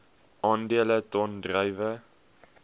aandele ton druiwe